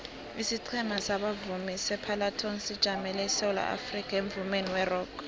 isiqhema sabavumi separlatones sijamele isewula afrikha emvumeni werock